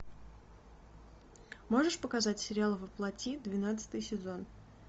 можешь показать сериал во плоти двенадцатый сезон